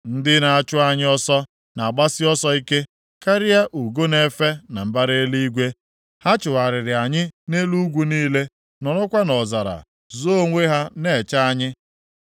Ndị na-achụ anyị ọsọ na-agbasi ọsọ ike karịa ugo na-efe na mbara eluigwe. Ha chụgharịrị anyị nʼelu ugwu niile, nọrọkwa nʼọzara zoo onwe ha na-eche anyị.